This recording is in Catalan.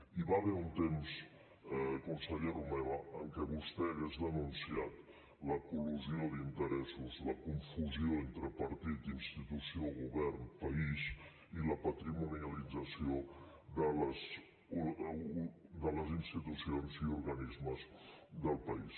hi va haver un temps conseller romeva en què vostè hauria denunciat la col·lusió d’interessos la confusió entre partit institució govern país i la patrimonialització de les institucions i organismes del país